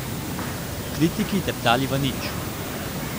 Kritiki teptali v nič.